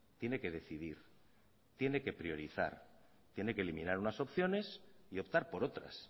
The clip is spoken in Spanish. tiene que decidir tiene que priorizar tiene que eliminar unas opciones y optar por otras